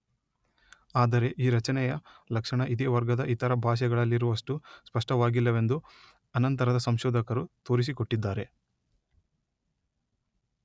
ಆದರೆ ಈ ರಚನೆಯ ಲಕ್ಷಣ ಇದೇ ವರ್ಗದ ಇತರ ಭಾಷೆಗಳಲ್ಲಿರುವಷ್ಟು ಸ್ಪಷ್ಟವಾಗಿಲ್ಲವೆಂದು ಅನಂತರದ ಸಂಶೋಧಕರು ತೋರಿಸಿಕೊಟ್ಟಿದ್ದಾರೆ.